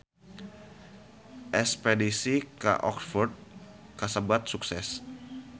Espedisi ka Oxford kasebat sukses